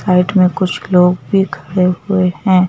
Side में कुछ लोग भी खड़े हुए हैं।